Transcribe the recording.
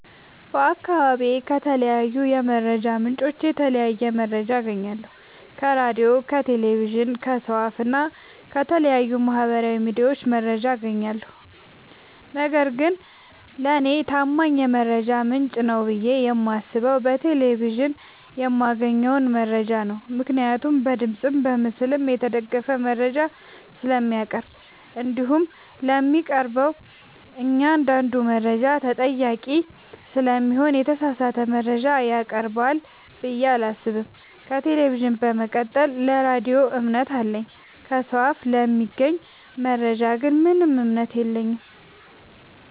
በአካባቢዬ ከተለያዩ የመረጃ ምንጮች የተለያየ መረጃ አገኛለሁ ከራዲዮ ከቴሌቪዥን ከሰው አፋ እና ከተለያዩ ማህበራዊ ሚዲያዎች መረጃ አጋኛለሁ። ነገርግን ለኔ ታማኝ የመረጃ ምንጭ ነው ብዬ የማስበው በቴሌቪዥን የማገኘውን መረጃ ነው ምክንያቱም በድምፅም በምስልም የተደገፈ መረጃ ስለሚያቀርብ። እንዲሁም ለሚያቀርበው እኛአንዳዱ መረጃ ተጠያቂ ስለሚሆን የተሳሳተ መረጃ ያቀርባል ብዬ አላሰብም። ከቴሌቪዥን በመቀጠል ለራዲዮ እምነት አለኝ። ከሰው አፍ ለሚገኝ መረጃ ግን ምንም እምነት የለኝም።